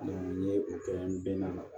n ye o kɛ n bɛ na